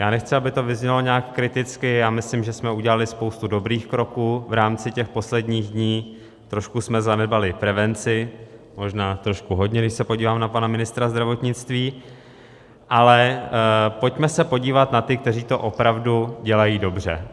Já nechci, aby to vyznělo nějak kriticky, já myslím, že jsme udělali spoustu dobrých kroků v rámci těch posledních dnů, trošku jsme zanedbali prevenci, možná trošku hodně, když se podívám na pana ministra zdravotnictví, ale pojďme se podívat na ty, kteří to opravdu dělají dobře.